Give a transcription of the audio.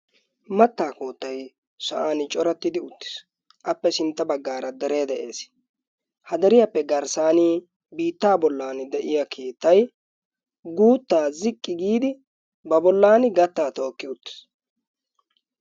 Mattaa koottay sa'aan corattidi uttiis. appe sintta baggaara deree de'ees. ha deriyaappe garssaan biittaa bollani de'iyaa keettay guuttaa xiqqi giidi ba bollaani gattaa tookki uttiis.